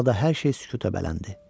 Talada hər şey sükuta bələndi.